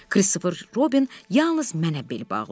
Kristofer Robin yalnız mənə bel bağlayır.